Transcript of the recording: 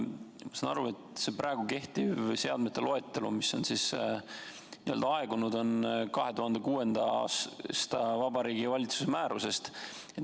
Ma saan aru, et see kehtiv seadmete loetelu, mis on n-ö aegunud, on 2006. aasta Vabariigi Valitsuse määrusest.